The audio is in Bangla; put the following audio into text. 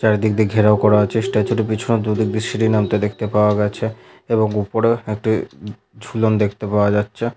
চারিদিক দিয়ে ঘেরাও করা আছে পেছনে দুদিক দিয়ে সিঁড়ি নামতে দেখতে পাওয়া গেছে এবং উপরে একটি উম ঝুলন দেখতে পাওয়া যাচ্ছে।